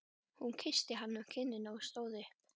Hún kyssti hann á kinnina og stóð upp.